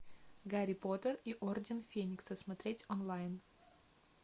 гарри поттер и орден феникса смотреть онлайн